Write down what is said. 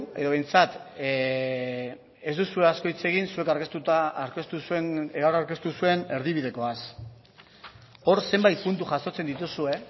edo behintzat ez duzue asko hitz egin zuek aurkeztu zenuten erdi bidekoaz hor zenbait puntu jasotzen dituzue